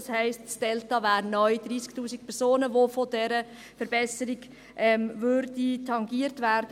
Das heisst, das «Delta» betrüge neu 30 000 Personen, welche von dieser Verbesserung tangiert würden.